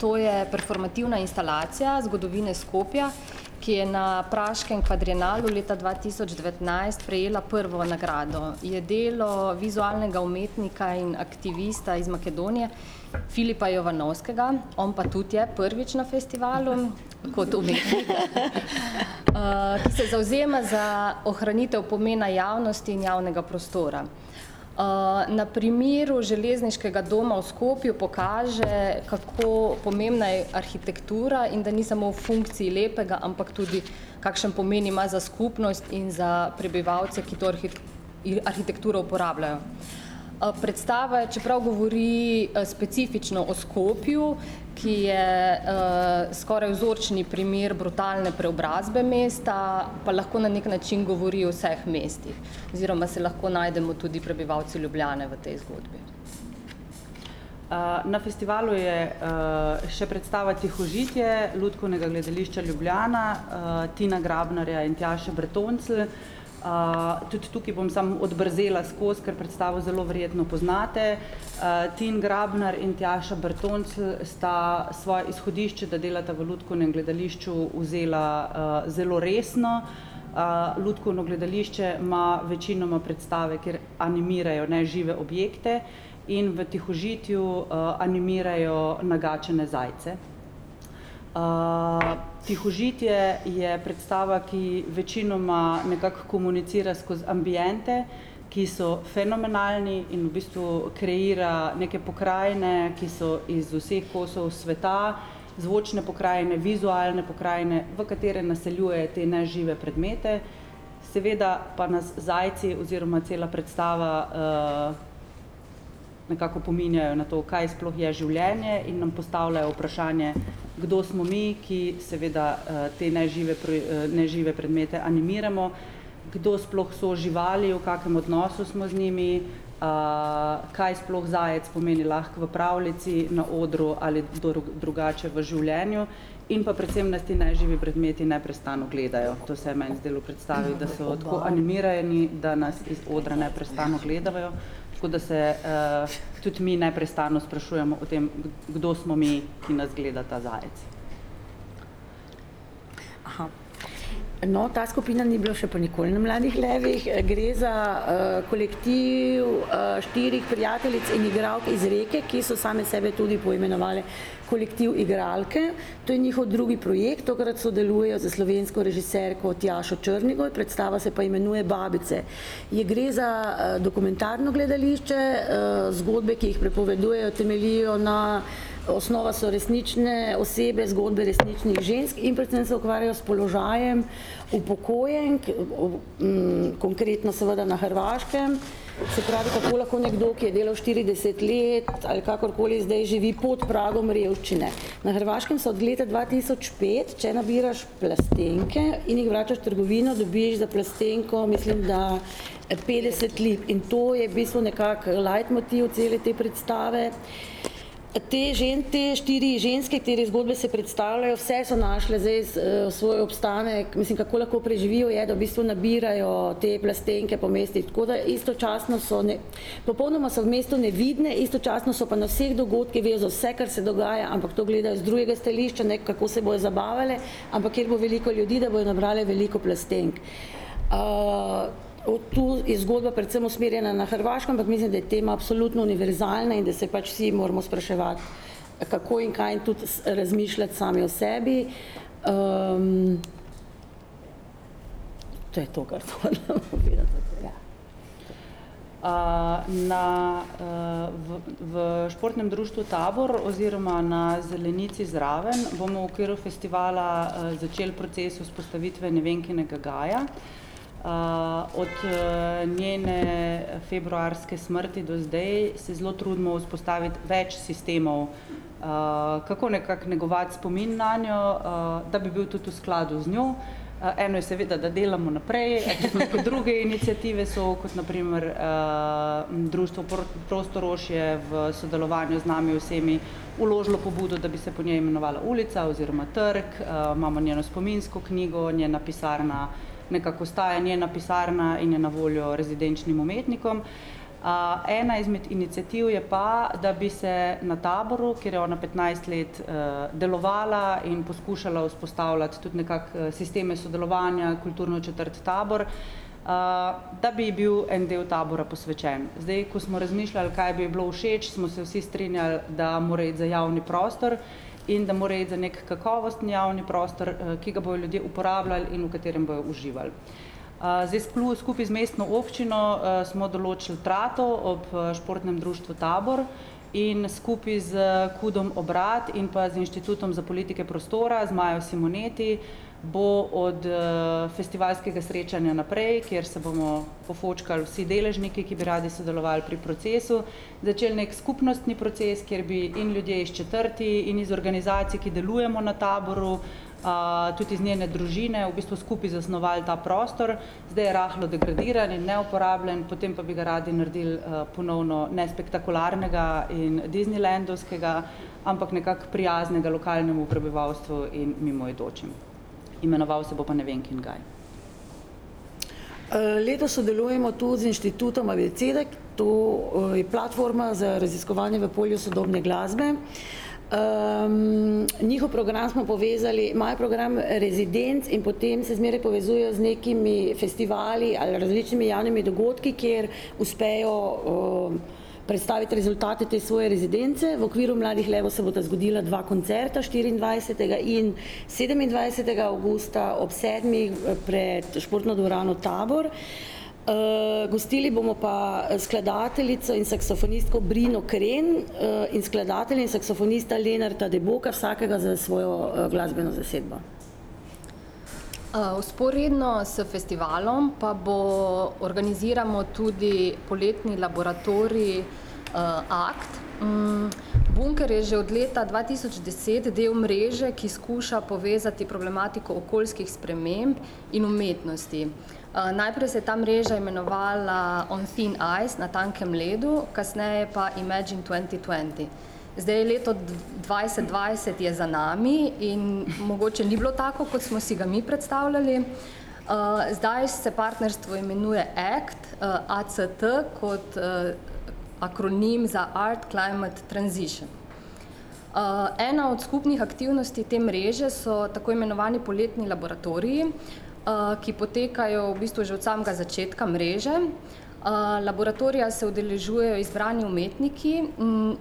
to je performativna instalacija zgodovine Skopja, ki je na praškem kvadrienalu leta dva tisoč devetnajst prejela prvo nagrado. Je delo vizualnega umetnika in aktivista iz Makedonije Filipa Jovanovskega. On pa tudi je prvič na festivalu kot umetnik, se zavzema za ohranitev pomena javnosti in javnega prostora. na primeru železniškega doma v Skopju pokaže, kako pomembna je arhitektura in da ni samo v funkciji lepega, ampak tudi, kakšen pomen ima za skupnost in za prebivalce, ki to arhitekturo uporabljajo. predstava, čeprav govori specifično o Skopju, ki je, skoraj vzorčni primer brutalne preobrazbe mesta, pa lahko na neki način govori o vseh mestih oziroma se lahko najdemo tudi prebivalci Ljubljane v tej zgodbi. na festivalu je, še predstava Tihožitje Lutkovnega gledališča Ljubljana, Tina Grabnarja in Tjaše Bretoncelj. tudi tukaj bom samo odbrzela skozi, ker predstavo zelo verjetno poznate. Tin Grabnar in Tjaša Bretoncelj sta izhodišče, da delata v Lutkovnem gledališču, vzela, zelo resno. lutkovno gledališče ima večinoma predstave, kjer animirajo nežive objekte in v Tihožitju, animirajo nagačene zajce. Tihožitje je predstava, ki večinoma nekako komunicira skozi ambiente, ki so fenomenalni in v bistvu kreira neke pokrajine, ki so iz vseh kosov sveta, zvočne pokrajine, vizualne pokrajine, v katere naseljujejo te nežive predmete. Seveda pa nas zajci oziroma cela predstava, nekako opominjajo na to, kaj sploh je življenje, in nam postavljajo vprašanje, kdo smo mi, ki seveda, te nežive nežive predmete animiramo, kdo sploh so živali, v kakem odnosu smo z njimi, kaj sploh zajec pomeni lahko v pravljici, na odru, ali drugače v življenju. In pa predvsem nas ti neživi predmeti neprestano gledajo, to se je meni zdelo v predstavi, da so tako animirani, da nas iz odra neprestano gledajo, tako da se, tudi mi neprestano sprašujemo o tem, kdo smo mi, ki nas gleda ta zajec. no, ta skupina ni bila pa še nikoli na Mladih levih, gre za, kolektiv, štirih prijateljic in igralk iz Reke, ki so same sebe tudi poimenovale Kolektiv igralke. To je njihov drugi projekt, tokrat sodeluje s slovensko režiserko Tjašo Črnigoj, predstava se pa imenuje Babice. Je, gre za, dokumentarno gledališče, zgodbe, ki jih pripovedujejo, temeljijo na, osnova so resnične osebe, zgodbe resničnih žensk in predvsem se ukvarjajo s položajem upokojenk, konkretno seveda na Hrvaškem. Se pravi, kako lahko nekdo, ki je delal štirideset let ali karkoli, zdaj živi pod pragom revščine. Na Hrvaškem so od leta dva tisoč pet, če nabiraš plastenke in jih vračaš v trgovino, dobiš za plastenko, mislim da petdeset lip, in to je v bistvu nekako lajtmotiv cele te predstave. Te te štiri ženske, katere zgodbe se predstavljajo, vse so našle zdaj svoj obstanek, mislim, kako lahko preživijo, je, da v bistvu nabirajo te plastenke po mestih, tako da istočasno so popolnoma so v mestu nevidne, istočasno so pa na vseh dogodkih, vejo za vse, kar se dogaja, ampak to gledajo z drugega stališča, ne, kako se bojo zabavale, ampak kje bo veliko ljudi, da bodo nabrale veliko plastenk. od to je zgodba precej usmerjena na Hrvaškem, ampak mislim, da je tema absolutno univerzalna in da se pač vsi moramo spraševati, kako in kaj in tudi razmišljati sami o sebi. ... To je to, kar sem hotela povedati ... na, v, v Športnem društvu Tabor oziroma na zelenici zraven bomo v okviru festivala, začeli proces vzpostavitve Nevenkinega gaja. od, njene februarske smrti do zdaj se zelo trudimo vzpostaviti več sistemov, kako nekako negovati spomin nanjo, da bi bil tudi v skladu z njo. eno je seveda, da delamo naprej, druge iniciative so, kot na primer, Društvo Prostorož je v sodelovanju z nami vsemi vložilo pobudo, da bi se po njej imenovala ulica oziroma trg, imamo njeno spominsko knjigo, njena pisarna nekako ostaja njena pisarna in je na voljo rezidenčnim umetnikom. ena izmed iniciativ je pa, da bi se na Taboru, kjer je ona petnajst let, delovala in poskušala vzpostavljati tudi nekako, sisteme sodelovanja, kulturno četrt Tabor, da bi ji bil en del Tabora posvečen, zdaj ko smo razmišljali, kaj bi ji bilo všeč, smo se vsi strinjali, da mora iti za javni prostor in da mora iti za neki kakovostni javni prostor, ki ga bojo ljudje uporabljali in v katerem bojo uživali. zdaj skupaj z mestno občino, smo določili trato ob, Športnem društvu Tabor in skupaj s Kudom Obrat in pa z Inštitutom za politike prostora z Majo Simoneti bo od, festivalskega srečanja naprej, kjer se bomo pofočkali vsi deležniki, ki bi radi sodelovali pri procesu, začeli neki skupnostni proces, kjer bi in ljudje iz četrti in iz organizacij, ki delujemo na Taboru, tudi iz njene družine v bistvu skupaj zasnovali ta prostor. Zdaj je rahlo degradiran in neuporabljen, potem pa bi ga naredili, ponovno nespektakularnega in disneylandovskega, ampak nekako prijaznega lokalnemu prebivalstvu in mimoidočim. Imenoval se bo pa Nevenkin gaj. letos sodelujemo tudi z Inštitutom Abeceda, to, je platforma za raziskovanje v polju sodobne glasbe. njihov program smo povezali, imajo program rezidenc in potem se zmeraj povezujejo z nekimi festivali ali različnimi javnimi dogodki, kjer uspejo, predstaviti rezultate te svoje rezidence, v okviru Mladih levov se bosta zgodila dva koncerta, štiriindvajsetega in sedemindvajsetega avgusta ob sedmih pred Športno dvorano Tabor. gostili bomo pa skladateljico in saksofonistko Brino Kren, in skladatelja in saksofonista Lenarta Deboka, vsakega s svojo, glasbeno zasedbo. vzporedno s festivalom pa bo, organiziramo tudi poletni laboratorij, Akt. Bunker je že od leta dva tisoč deset del mreže, ki skuša povezati problematiko okoljskih sprememb in umetnosti. najprej se je ta mreža imenovala On thin ice, Na tankem ledu, kasneje pa Imagine twenty twenty. Zdaj leto dvajset dvajset je za nami in mogoče ni bilo tako, kot smo si ga mi predstavljali. zdaj se partnerstvo imenuje Act, Act kot akronim za Art climate transition. ena od skupnih aktivnosti te mreže so tako imenovani poletni laboratoriji, ki potekajo v bistvu že od samega začetka mreže. laboratorija se udeležujejo izbrani umetniki,